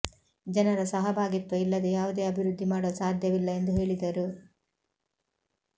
ಜನರ ಸಹಭಾಗಿತ್ವ ಇಲ್ಲದೆ ಯಾವುದೇ ಅಭಿವೃದ್ಧಿ ಮಾಡಲು ಸಾಧ್ಯವಿಲ್ಲ ಎಂದು ಹೇಳಿದರು